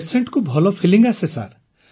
patient କୁ ଭଲ feeling ଆସେ ସାର୍